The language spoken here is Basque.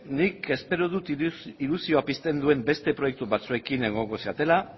nik espero dut ilusioa pizten duen beste proiektu batzuekin egongo zaretela